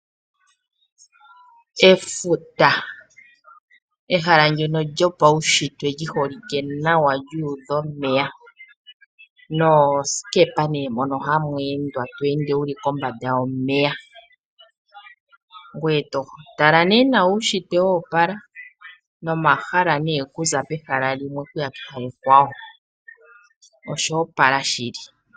Efuta. Ehala ndyono lyopaushitwe lyi holike nawa lyuudha omeya, noosikepa mono ha mu endwa to ende wu li kombada yomeya. Ee to tala uushintwe woopala, nomahala okuza pehala limwe , oku ya pehala ekwawo, osho opala shili.